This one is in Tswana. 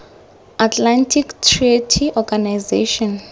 atlantic treaty organization